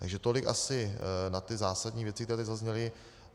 Takže tolik asi na ty zásadní věci, které tady zazněly.